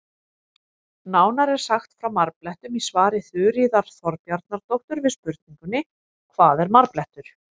Nánar er sagt frá marblettum í svari Þuríðar Þorbjarnardóttur við spurningunni Hvað er marblettur?